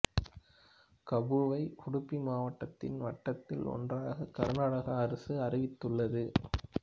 கபுவை உடுப்பி மாவட்டத்தின் வட்டத்தில் ஒன்றாக கர்நாடக அரசு அறிவித்துள்ளது